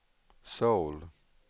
Söul